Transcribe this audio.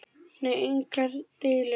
Nei, engar deilur.